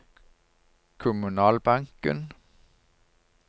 kommunalbanken